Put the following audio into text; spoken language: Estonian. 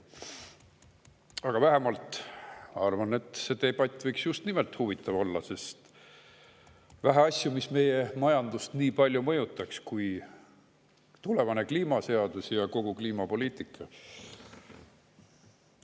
Aga ma arvan, et see debatt võiks just nimelt huvitav olla, sest on vähe asju, mis meie majandust nii palju mõjutaks kui tulevane kliimaseadus ja kogu kliimapoliitika.